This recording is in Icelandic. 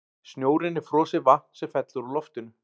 Snjórinn er frosið vatn sem fellur úr loftinu.